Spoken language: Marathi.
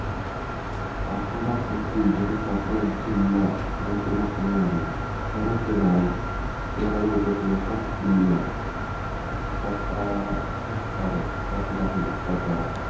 सातारा तहसील तसेच सातारा जिल्हा यांचे मुख्यालय आहे. शहराचे नाव शहरा भवती असलेल्या सात किल्ल्या सता सात तारा पासून आहे सातारा.